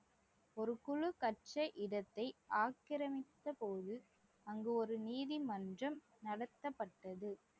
ஒரு குழு கற்ற இடத்தை ஆக்கிரமித்த போது அங்கு ஒரு நீதிமன்றம் நடத்தப்பட்டது